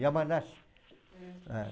Yamanashi. Eh.